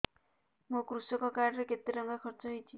ମୋ କୃଷକ କାର୍ଡ ରେ କେତେ ଟଙ୍କା ଖର୍ଚ୍ଚ ହେଇଚି